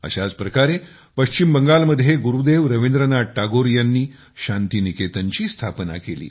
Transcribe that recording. अशाच प्रकारे पश्चिम बंगाल मध्ये गुरुदेव रवींद्रनाथ टागोर यांनी शांती निकेतनची स्थापना केली